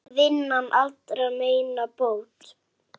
Vinnan allra meina bót.